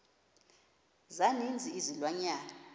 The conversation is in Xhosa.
za ninzi izilwanyana